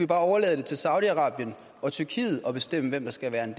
bare overlade det til saudi arabien og tyrkiet at bestemme hvem der skal være